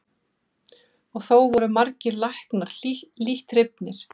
Og þó voru margir læknar lítt hrifnir.